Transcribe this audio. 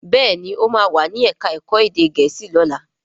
Béèni o ma wá ní èka èko èdè gèésì lọla.